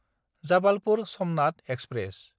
Jabalpur-Somnath express